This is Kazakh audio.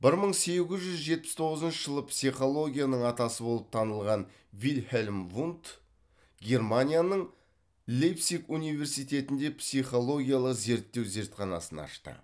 бір мың сегіз жүз жетпіс тоғызыншы жылы психологияның атасы болып танылған вильхельм вундт германияның лейпциг университетінде психологиялық зерттеу зертханасын ашты